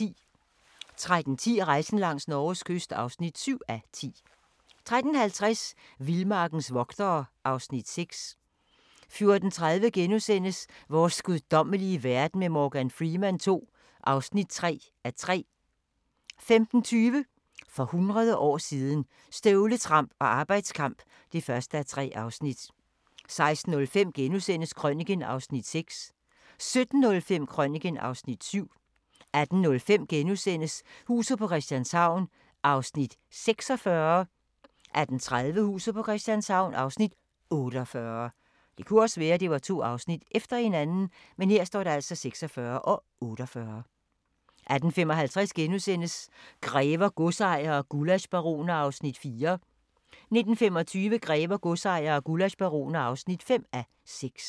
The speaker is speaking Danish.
13:10: Rejsen langs Norges kyst (7:10) 13:50: Vildmarkens vogtere (Afs. 6) 14:30: Vores guddommelige verden med Morgan Freeman II (3:3)* 15:20: For hundrede år siden – Støvletramp og arbejdskamp (1:3) 16:05: Krøniken (Afs. 6)* 17:05: Krøniken (Afs. 7) 18:05: Huset på Christianshavn (46:84)* 18:30: Huset på Christianshavn (48:84) 18:55: Grever, godsejere og gullaschbaroner (4:6)* 19:25: Grever, godsejere og gullaschbaroner (5:6)